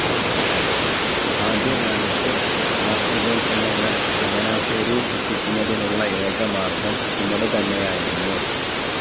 ആദ്യകാലത്ത്‌ കാർഷികോൽപന്നങ്ങൾ ചങ്ങനാശേരിയിൽ എത്തിക്കുന്നതിനുള്ള ഏക മാർഗ്ഗം ചുമട് തന്നെയായിരുന്നു.